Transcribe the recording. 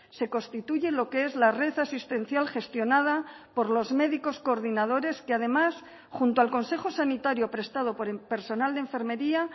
se constituye lo que es la red asistencial gestionada por los médicos coordinadores que además junto al consejo sanitario prestado por el personal de enfermería